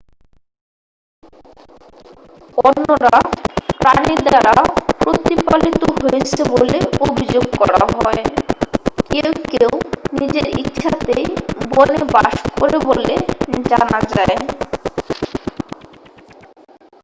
অন্যরা প্রাণী দ্বারা প্রতিপালিত হয়েছে বলে অভিযোগ করা হয় কেউ কেউ নিজের ইচ্ছাতেই বনে বাস করে বলে জানা যায়